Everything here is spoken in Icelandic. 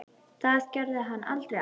Það gerði hún aldrei aftur.